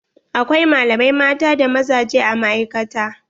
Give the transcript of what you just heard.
Akwai malamai mata da mazaje a ma'aikata.